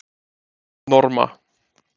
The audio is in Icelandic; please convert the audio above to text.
Norma